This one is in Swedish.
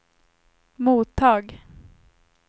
mottag